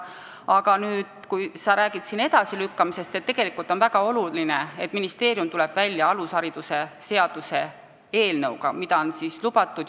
Aga kui sa räägid jõustumise edasilükkamisest, siis on väga oluline, et ministeerium tuleb välja alushariduse seaduse eelnõuga, mida on juba ammu lubatud.